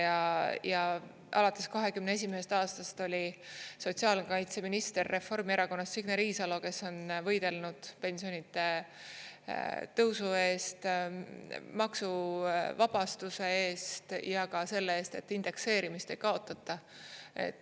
Ja alates 2021. aastast oli sotsiaalkaitseminister Reformierakonnast Signe Riisalo, kes on võidelnud pensionide tõusu eest, maksuvabastuse eest ja ka selle eest, et indekseerimist ei kaotata.